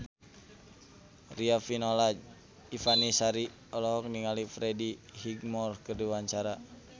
Riafinola Ifani Sari olohok ningali Freddie Highmore keur diwawancara